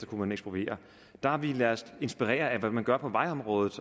kunne man ekspropriere der har vi ladet os inspirere af det man gør på vejområdet